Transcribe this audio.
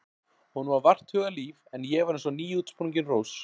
Honum var vart hugað líf en ég var eins og nýútsprungin rós.